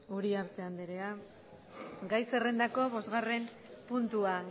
uriarte anderea gai zerrendako bostgarren puntua